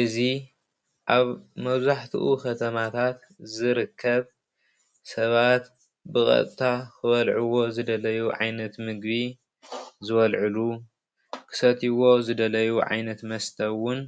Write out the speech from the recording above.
እዚ ኣብ መብዛሕትኡ ከተማታት ዝርከብ ሰባት ብቀጥታ ክበልዕዎ ዝደለዩ ዓይነት ምግቢ ዝበልዕሉ ክሰቲዎ ዝደለዩ ዓይነት መስተ እውን